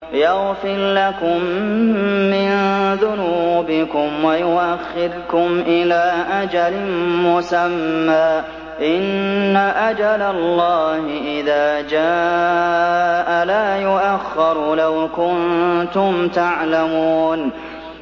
يَغْفِرْ لَكُم مِّن ذُنُوبِكُمْ وَيُؤَخِّرْكُمْ إِلَىٰ أَجَلٍ مُّسَمًّى ۚ إِنَّ أَجَلَ اللَّهِ إِذَا جَاءَ لَا يُؤَخَّرُ ۖ لَوْ كُنتُمْ تَعْلَمُونَ